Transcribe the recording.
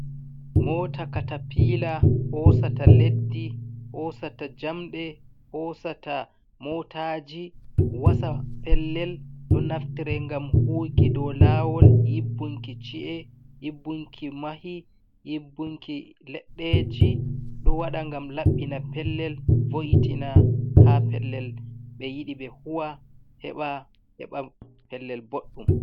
Moota katapiila hoosata leddi, hoosata jamɗe, hoosata mootaaji, wasa pellel, ɗo naftira ngam huuwiki dow laawol, yibbunki ci'e, yibbunki mahi, yibbunki leɗɗeeji, ɗo waɗa ngam laɓɓina pellel, vo'itina haa pellel ɓe yiɗi, ɓe huuwa, heɓa, heɓa pellel boɗɗum.